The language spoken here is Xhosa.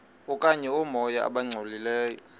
okanye oomoya abangcolileyo